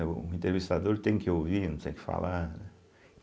É o entrevistador tem que ouvir, não tem que falar, né.